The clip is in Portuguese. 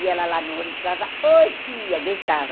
E ela lá no ônibus, oi, tia, gritava.